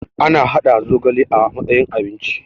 ana haɗa zogale a matsayin abinci